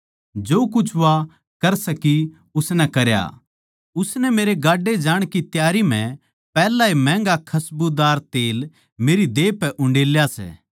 जो कुछ वा कर सकी उसनै करया उसनै मेरै गाड्डे जाण की त्यारी म्ह पैहलए महँगे खसबूदार तेल मेरी देह पै उंडेला सै